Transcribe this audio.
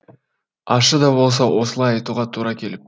ащы да болса осылай айтуға тура келіп тұр